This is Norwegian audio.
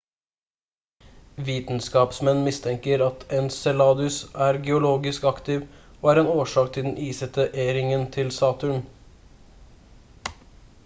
vitenskapsmenn mistenker at enceladus er geologisk aktiv og en årsak til den isete e-ringen til saturn